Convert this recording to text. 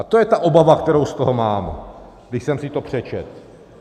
A to je ta obava, kterou z toho mám, když jsem si to přečetl.